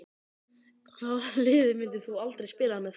Hvaða liði myndir þú aldrei spila með?